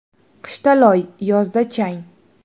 Qishda loy, yozda chang.